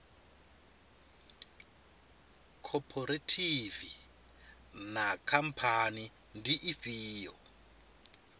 khophorethivi na khamphani ndi ifhio